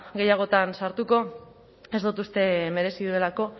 gehiagotan sartuko ez dut uste merezi dudalako